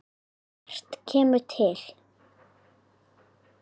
Margt kemur til.